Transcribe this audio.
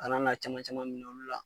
Kana na caman caman minɛ olu la.